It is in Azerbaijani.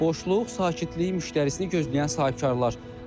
Boşluq, sakitlik, müştərisini gözləyən sahibkarlar.